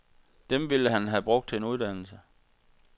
Dem ville han have brugt til en uddannelse.